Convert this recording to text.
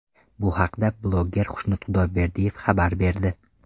Bu haqda bloger Xushnud Xudoyberdiyev xabar berdi .